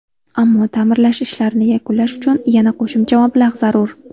Ammo, ta’mirlash ishlarini yakunlash uchun yana qo‘shimcha mablag‘ zarur.